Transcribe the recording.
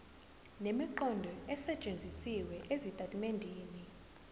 nemiqondo esetshenzisiwe ezitatimendeni